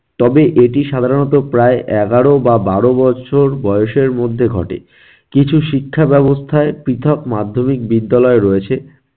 তবে এটি সাধারণত প্রায় এগারো বা বারো বছর বয়সের মধ্যে ঘটে. কিছু শিক্ষা ব্যবস্থায় পৃথক মাধ্যমিক বিদ্যালয় রয়েছে।